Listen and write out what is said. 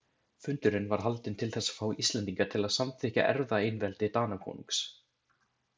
Fundurinn var haldinn til þess að fá Íslendinga til að samþykkja erfðaeinveldi Danakonungs.